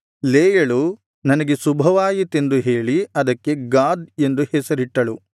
ಲೇಯಳು ನನಗೆ ಶುಭವಾಯಿತೆಂದು ಹೇಳಿ ಅದಕ್ಕೆ ಗಾದ್ ಎಂದು ಹೆಸರಿಟ್ಟಳು